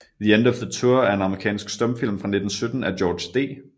The End of the Tour er en amerikansk stumfilm fra 1917 af George D